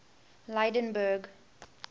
lydenburg